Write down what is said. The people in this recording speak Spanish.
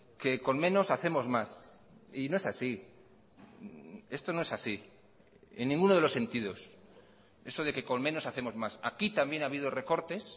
que con menos hacemos más y no es así esto no es así en ninguno de los sentidos eso de que con menos hacemos más aquí también ha habido recortes